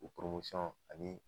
O ani